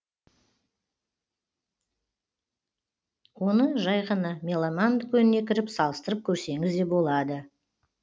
оны жай ғана меломан дүкеніне кіріп салыстырып көрсеңіз де болады